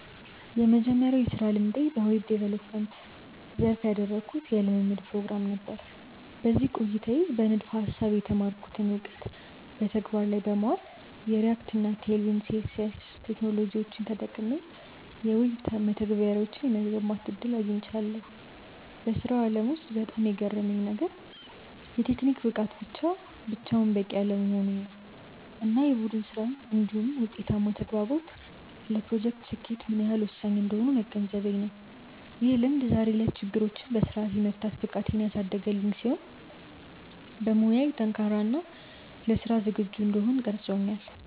የመጀመሪያው የሥራ ልምዴ በዌብ ዲቨሎፕመንት (Web Development) ዘርፍ ያደረግኩት የልምምድ ፕሮግራም (Internship) ነበር። በዚህ ቆይታዬ በንድፈ-ሐሳብ የተማርኩትን እውቀት በተግባር ላይ በማዋል፣ የReact እና Tailwind CSS ቴክኖሎጂዎችን ተጠቅሜ የዌብ መተግበሪያዎችን የመገንባት ዕድል አግኝቻለሁ። በሥራው ዓለም ውስጥ በጣም የገረመኝ ነገር፣ የቴክኒክ ብቃት ብቻውን በቂ አለመሆኑ እና የቡድን ሥራ (Teamwork) እንዲሁም ውጤታማ ተግባቦት ለፕሮጀክቶች ስኬት ምን ያህል ወሳኝ እንደሆኑ መገንዘቤ ነው። ይህ ልምድ ዛሬ ላይ ችግሮችን በሥርዓት የመፍታት ብቃቴን ያሳደገልኝ ሲሆን፣ በሙያዬ ጠንካራ እና ለሥራ ዝግጁ እንድሆን ቀርጾኛል።